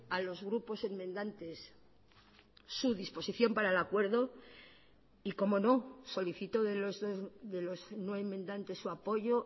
a los grupos enmendantes su disposición para el acuerdo y cómo no solicito de los no enmendantes su apoyo